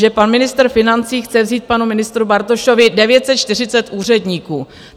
Že pan ministr financí chce vzít panu ministru Bartošovi 940 úředníků.